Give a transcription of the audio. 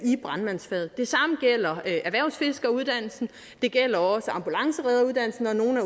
i brandmandsfaget det samme gælder erhvervsfiskeruddannelsen og det gælder også ambulanceredderuddannelsen og nogle